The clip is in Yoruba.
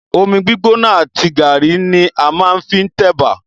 Omi gbígbóná àti gàrí ní a máa ń fi tẹ̀bà.